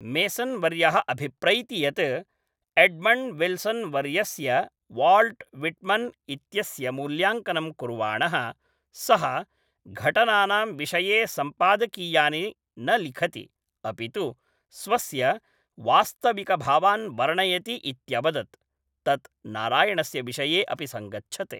Mason वर्यः अभिप्रैति यत् एड्मण्ड् विल्सन् वर्यस्य वाल्ट् विट्मन् इत्यस्य मूल्याङ्कनं कुर्वाणः, सः घटनानां विषये सम्पादकीयानि न लिखति, अपि तु स्वस्य वास्तविकभावान् वर्णयति इत्यवदत्, तत् नारायणस्य विषये अपि सङ्गच्छते।